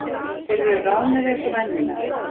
Þeir eru ráðnir eins og venjulega